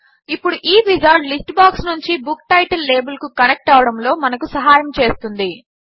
ఇప్పుడు ఈ wizard list box నుంచి బుక్ టైటిల్ లాబెల్ కు కనెక్ట్ అవ్వడములో మనకు సహాయము చేస్తుంది